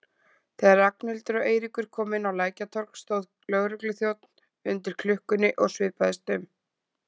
Þegar Ragnhildur og Eiríkur komu inn á Lækjartorg stóð lögregluþjónn undir klukkunni og svipaðist um.